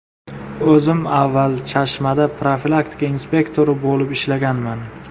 O‘zim avval Chashmada profilaktika inspektori bo‘lib ishlaganman.